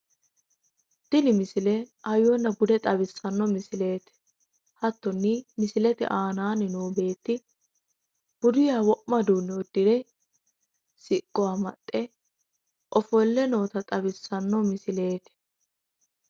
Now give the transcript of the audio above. tini misile hayyonna bude xawissanno misileeti hattonni misilete aanaanni noo beetti buduyiha wo'ma uduunne uddire siqqo amaxxe ofolle noota xawissanno misileeti.